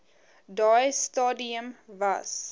daai stadium was